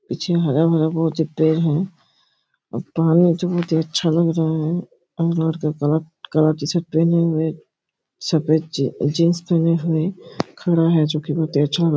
पीछे हरा भरा बहोत ही पेड़ है और बहोत ही अच्छा लग रहा है अनार का कलर का टी-शर्ट पहने हुए सफ़ेद जीन-जीन्स पहने हुए खड़ा है जो की बहोत ही अच्छा--